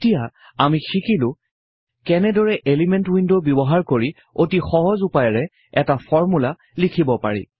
এতিয়া আমি শিকিলো কেনেদৰে এলিমেন্ট উইন্ড ব্যৱহাৰ কৰি অতি সহজ উপায়েৰে এটা ফৰ্মূলা লিখিব পাৰি